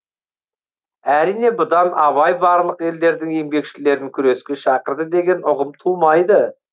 әрине бұдан абай барлық елдердің еңбекшілерін күреске шақырды деген ұғым тумайды